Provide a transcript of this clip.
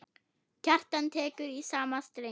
Kjartan tekur í sama streng.